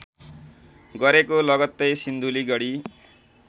गरेको लगत्तै सिन्धुलीगढी